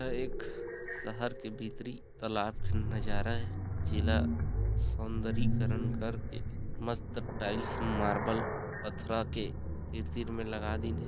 एक शहर के भीतरी तालाब के नज़ारा ए जेला सौन्दरीकरन करके मस्त टाइल्स मार्बल पथरा के तीर तीर लगा दिन हे ।